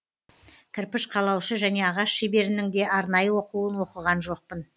кірпіш қалаушы және ағаш шеберінің де арнайы оқуын оқыған жоқпын